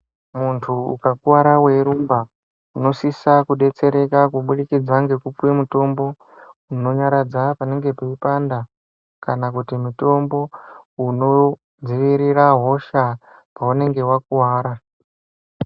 Muntu ukakuwara weirumba, unosisa kudetsereka, kubudikidza ngekupiwe mutombo, unonyaradza panenge peipanda, kana kuti mutombo, unodziirira hosha paunenge wakuwara.